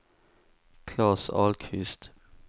Klas Ahlqvist